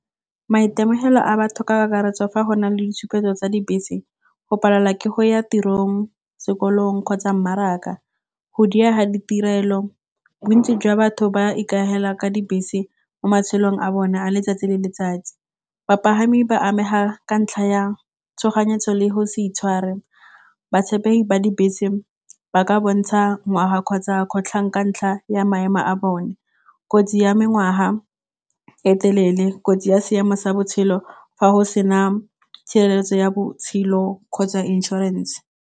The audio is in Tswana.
Maitemogelo a batho ka kakaretso fa go na le ditshupetso tsa dibese go palelwa ke go ya tirong, sekolong kgotsa mmaraka, go diega ditirelo. Bontsi jwa batho ba ka dibese mo matshelong a bone a letsatsi le letsatsi, bapagami ba amega ka ntlha yang tshoganyetso le go sa itshware. Botshepegi ba dibese ba ka bontsha ngwaga kgotsa kgotlhang ka ntlha ya maemo a bone, kotsi ya e telele, kotsi ya siama sa botshelo fa go sena tshireletso ya botshelo kgotsa insurance.